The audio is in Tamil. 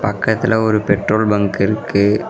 பக்கத்துல ஒரு பெட்ரோல் பங்க் இருக்கு.